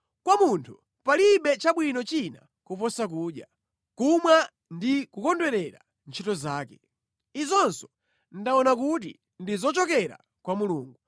Kwa munthu palibe chabwino china kuposa kudya, kumwa ndi kukondwerera ntchito zake. Izinso ndaona kuti ndi zochokera kwa Mulungu,